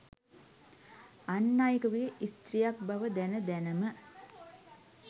අන් අයෙකුගේ ස්ත්‍රීයක් බව දැන දැනම